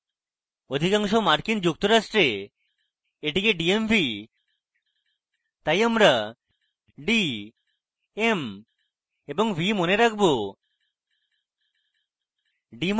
অধিকাংশ মার্কিন যুক্তরাষ্ট্রে এটিকে dmv বা department of motor vehicles বলে তাই আমরা d m এবং v মনে রাখবো